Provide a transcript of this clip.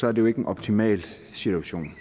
er det jo ikke en optimal situation